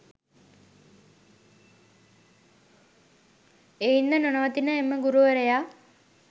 එයින්ද නොනවතින එම ගුරුවරයා